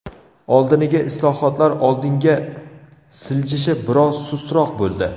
Oldiniga islohotlar oldinga siljishi biroz sustroq bo‘ldi.